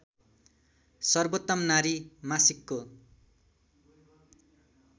सर्वोत्तम नारी मासिकको